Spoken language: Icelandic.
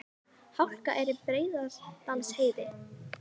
Hálka er á Breiðdalsheiði